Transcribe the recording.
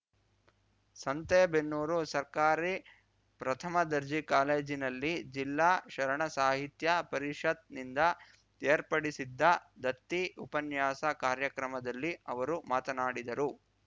ಸಂತೇಬೆನ್ನೂರು ಸರ್ಕಾರಿ ಪ್ರಥಮ ದರ್ಜೆ ಕಾಲೇಜಿನಲ್ಲಿ ಜಿಲ್ಲಾ ಶರಣ ಸಾಹಿತ್ಯ ಪರಿಷತ್‌ನಿಂದ ಏರ್ಪಡಿಸಿದ್ದ ದತ್ತಿ ಉಪನ್ಯಾಸ ಕಾರ್ಯಕ್ರಮದಲ್ಲಿ ಅವರು ಮಾತನಾಡಿದರು